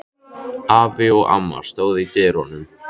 Afi og amma stóðu í dyrunum.